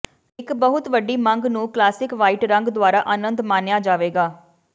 ਇੱਕ ਬਹੁਤ ਵੱਡੀ ਮੰਗ ਨੂੰ ਕਲਾਸਿਕ ਵਾਈਟ ਰੰਗ ਦੁਆਰਾ ਅਨੰਦ ਮਾਣਿਆ ਜਾਵੇਗਾ